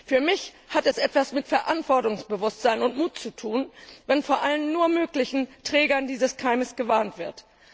Für mich hat es etwas mit Verantwortungsbewusstsein und Mut zu tun, wenn vor allen nur möglichen Trägern dieses Keimes gewarnt wird.